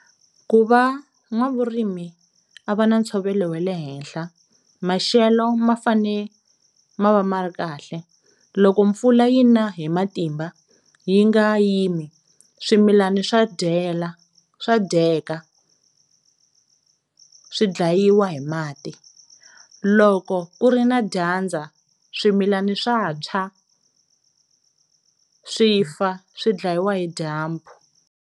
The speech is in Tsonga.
Ku va n'wavurimi a va na ntshovelo we le henhla maxelo ma fane ma va ma ri kahle, loko mpfula yi na hi matimba yi nga yimi swimilani swa dyela, swa dyeka swi dlayiwa hi mati, loko ku ri na dyandza swimilani swa tshwa swi fa swi dlayiwa hi dyambu.